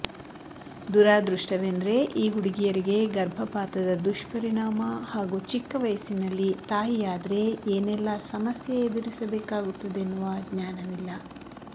ದುರಾದೃಷ್ಟವೆಂದ್ರೆ ಈ ಹುಡುಗಿಯರಿಗೆ ಗರ್ಭಪಾತದ ದುಷ್ಪರಿಣಾಮ ಹಾಗೂ ಚಿಕ್ಕ ವಯಸ್ಸಿನಲ್ಲಿ ತಾಯಿಯಾದ್ರೆ ಏನೆಲ್ಲ ಸಮಸ್ಯೆ ಎದುರಿಸಬೇಕಾಗುತ್ತದೆನ್ನುವ ಜ್ಞಾನವಿಲ್ಲ